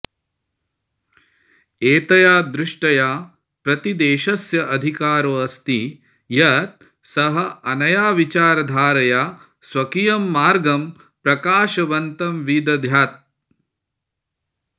एतया दृष्ट्या प्रतिदेशस्य अधिकारोऽस्ति यत् सः अनया विचारधारया स्वकीयं मार्गं प्रकाशवन्तं विदध्यात्